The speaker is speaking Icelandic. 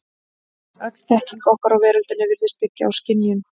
Öll þekking okkar á veröldinni virðist byggja á skynjun.